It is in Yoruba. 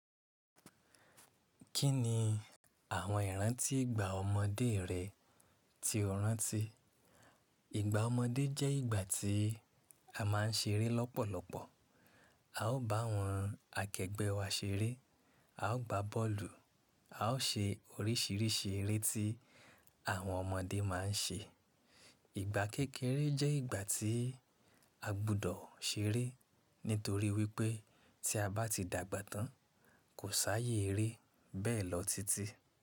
Kí ni àwọn ìrántí ìgbà ọmọdé rẹ́ tí o rántí? Ìgbà ọmọdé jẹ́ ìgbà tí a máa ń ṣeré lọ́pọ̀lọpọ̀. A ó bá àwọn akẹgbẹ́ wa ṣeré, a ó gba bọ́ọ̀lù, a ó ṣe oríṣìíríṣìí eré tí àwọn ọmọdé máa ń ṣe. Ìgbà kékeré jẹ́ ìgbà tí a gbọ́dọ̀ ṣeré nítorí wípé tí a bá ti dàgbà tán, kò sáyé eré bẹ́ẹ̀ lọ titi.